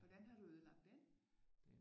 Hvordan har du ødelagt den